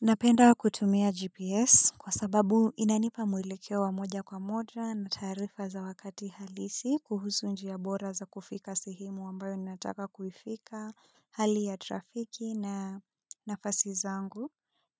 Napenda kutumia GPS kwa sababu inanipa mwelekeo wa moja kwa moja na taarifa za wakati halisi kuhusu njia bora za kufika sehemu ambayo ninataka kufika, hali ya trafiki na nafasi zangu.